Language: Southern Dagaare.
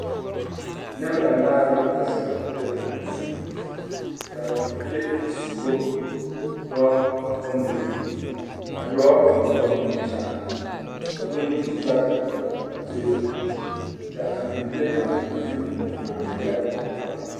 Neŋ banaare la zeŋ tabol zu ka bibilii a suroo dɔɔ bondirii a dɔɔ eŋ la nimi kyaane ka bondi yaga a dɔlle a tabol zu ka a bibilii kaŋa de o nu a meelɛ o noɔrɔ.